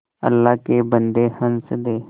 अल्लाह के बन्दे हंस दे